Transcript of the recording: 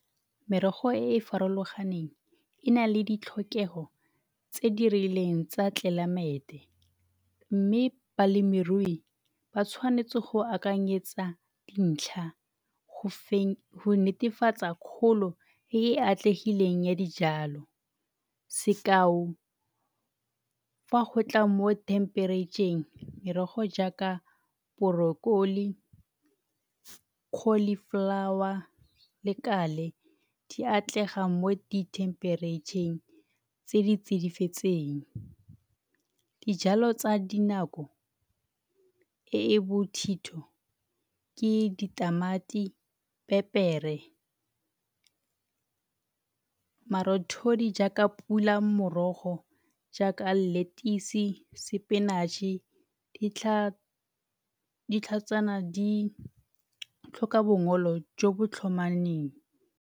Merogo e e farologaneng e nale ditlhokego tse di rileng tsa tlelaemete mme balemirui ba tshwanetse go akanyetsa dintlha go netefatsa kgolo e e atlegileng ya dijalo. Sekao fa go tla mo themperetšheng merogo jaaka , cauliflower le di atlega mo dithemperetšheng tse di tsidifetseng. Dijalo tsa dinako e e bothitho ke ditamati, pepere. Marothodi jaaka pula morogo jaaka lettuce, spinach-e ditlhatsana di tlhoka bongola jo bo .